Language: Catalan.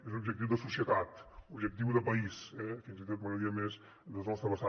és un objectiu de societat un objectiu de país eh i fins i tot m’agradaria més des de la nostra vessant